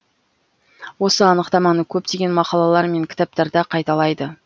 осы анықтаманы көптеген мақалалар мен кітаптарда қайталайды